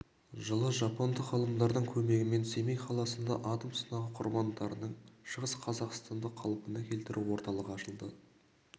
жылы жапондық ғалымдардың көмегімен семей қаласында атом сынағы құрбандарының шығыс қазақстанды қалпына келтіру орталығы ашылды